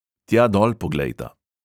Tja dol poglejta.